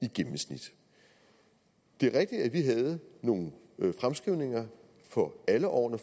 i gennemsnit det er rigtigt at vi havde nogle fremskrivninger for alle årene